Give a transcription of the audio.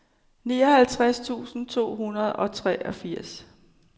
nioghalvtreds tusind to hundrede og treogfirs